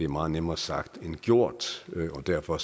meget nemmere sagt end gjort og derfor